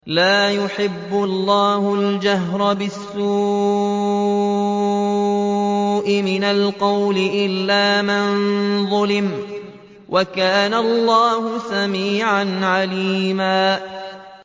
۞ لَّا يُحِبُّ اللَّهُ الْجَهْرَ بِالسُّوءِ مِنَ الْقَوْلِ إِلَّا مَن ظُلِمَ ۚ وَكَانَ اللَّهُ سَمِيعًا عَلِيمًا